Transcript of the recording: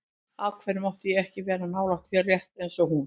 Af hverju mátti ég ekki vera nálægt þér, rétt eins og hún?